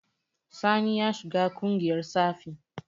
Sani ya shiga ƙungiyar tsafi.